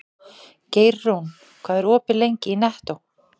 Geirrún, hvað er opið lengi í Nettó?